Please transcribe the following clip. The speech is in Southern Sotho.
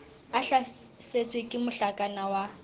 a hlasetswe ke mohlakana wa